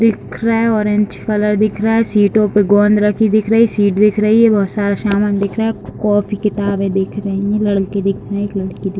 दिख रहा है ऑरेंज कलर दिख रहा है सीटों पे गोंद रखी दिख रही सीट दिख रही है बहुत सारा सामान दिख रहा है कॉपी किताबे दिख रही है लड़की दिख रही एक लड़की दिख --